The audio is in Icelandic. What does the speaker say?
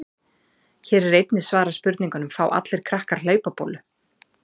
Hér er einnig svarað spurningunum: Fá allir krakkar hlaupabólu?